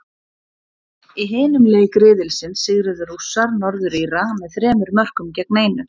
Í hinum leik riðilsins sigruðu Rússar, Norður Íra, með þremur mörkum gegn einu.